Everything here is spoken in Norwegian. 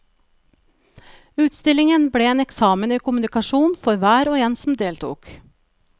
Utstillingen ble en eksamen i kommunikasjon for hver og en som deltok.